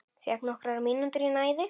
Fékk nokkrar mínútur í næði.